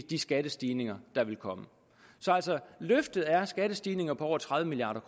de skattestigninger der vil komme så altså løftet er skattestigninger på over tredive milliard